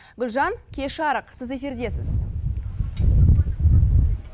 гүлжан кеш жарық сіз эфирдесіз